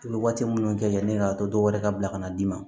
I bɛ waati minnu kɛ yanni e ka to dɔwɛrɛ ka bila ka na d'i ma